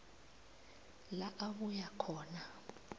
la abuya khona